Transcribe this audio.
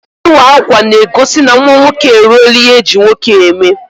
Ịwa akwa n'egosi na nwa nwoke e ruola ihe eji nwoke eme